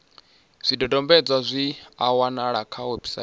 zwidodombedzwa zwi a wanalea kha website